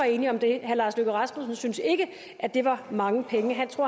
enige om det herre lars løkke rasmussen syntes ikke at det var mange penge